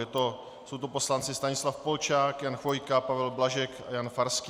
Jsou to poslanci Stanislav Polčák, Jan Chvojka, Pavel Blažek a Jan Farský.